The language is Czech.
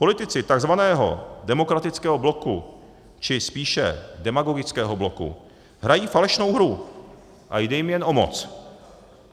Politici takzvaného demokratického bloku, či spíše demagogického bloku, hrají falešnou hru a jde jim jen o moc.